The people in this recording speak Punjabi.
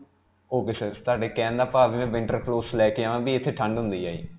ok sir, ਤੁਹਾਡੇ ਕਹਿਣ ਦਾ ਭਾਵ ਹੈ ਕਿ ਮੈਂ winterproofs ਲੈ ਕੇ ਆਵਾਂ ਕਿ ਇਥੇ ਠੰਡ ਹੁੰਦੀ ਹੈ ਜੀ.